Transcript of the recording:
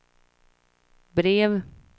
brev